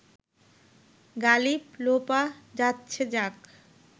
গালিব, লোপা যাচ্ছে যাক